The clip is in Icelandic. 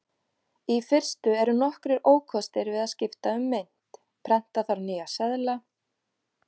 Í fyrstu eru nokkrir ókostir við að skipta um mynt: Prenta þarf nýja seðla.